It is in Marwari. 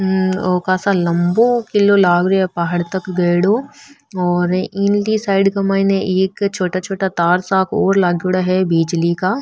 ओ कासा लम्बो किलो लाग रो है पहाड़ तक गएडॉ और इनकी साइड के माइन एक छोटा छोटा तार सा और लागेड़ा है बीजली का।